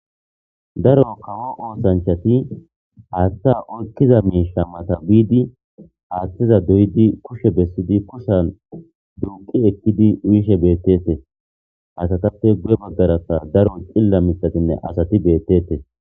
Daro kawo oosanchati aatta orkiza meesha mata biidi aaththiza doydi kushshe bessidi kushsan dunqi ekkidi uyishe beettete asatappe gu'e baggarasa daro cilla mitatinne asati beettete.